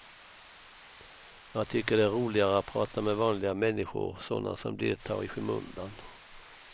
Jag tycker det är roligare att prata med vanliga människor, sådana som deltar i skymundan.